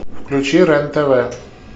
включи рен тв